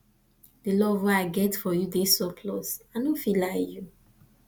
di love wey i get for you dey surplus i no fit lie you